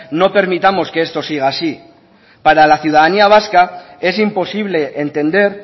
no permitamos que esto siga así para la ciudadanía vasca es imposible entender